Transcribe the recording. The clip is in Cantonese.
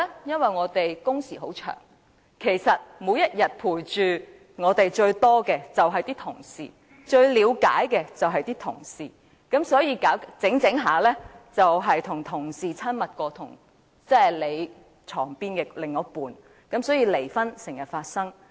因為我們的工時很長，每天陪着我們最長時間的便是同事，最了解我們的人也是同事，所以漸漸導致同事較床邊的另一半更親密，離婚因此經常發生。